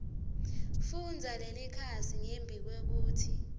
fundza lelikhasi ngembikwekutsi